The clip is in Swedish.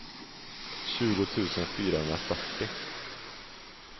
tjugo tusen fyrahundrafyrtio